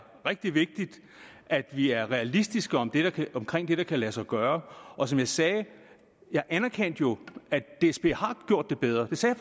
rigtig vigtigt at vi er realistiske om det der kan lade sig gøre og som jeg sagde jeg anerkendte jo at dsb har gjort det bedre det sagde